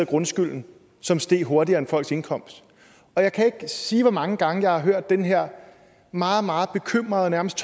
grundskylden som steg hurtigere end folks indkomst jeg kan ikke sige hvor mange gange jeg har hørt den her meget meget bekymrede og nærmest